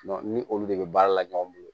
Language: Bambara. ni olu de bɛ baara la ɲɔgɔn bolo